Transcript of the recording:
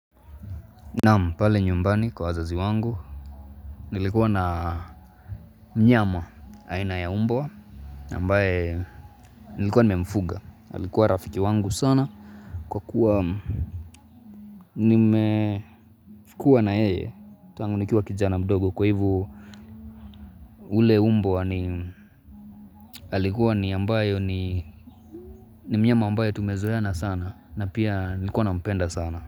Naam pale nyumbani kwa wazazi wangu, nilikuwa na mnyama haina ya umbw ambaye nilikuwa ni memfuga, ailikuwa rafiki wangu sana kwa kuwa nimefikuwa na yeye, tangunikiwa kijana mdogo kwa hivo ule mbwa wa ailikuwa ni mnyama ambaye tumezoeana sana na pia nilikuwa na mpenda sana.